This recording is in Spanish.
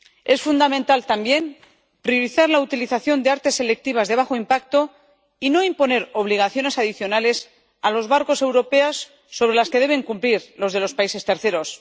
Es fundamental también priorizar la utilización de artes selectivas de bajo impacto y no imponer obligaciones adicionales a los barcos europeos sobre las que deben cumplir los de los países terceros